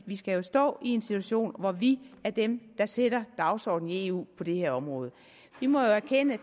vi skal stå i en situation hvor vi er dem der sætter dagsordenen i eu på det her område vi må jo erkende at